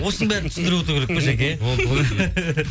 осының бәрін түсіндіріп отыру керек пе жаке